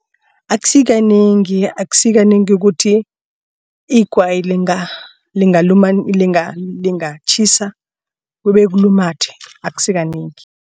Akusikanengi akusikanengi ukuthi igwayi lingatjhisa kube kulumathe akusikanengi.